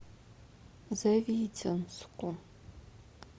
завитинску